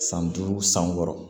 San duuru san wɔɔrɔ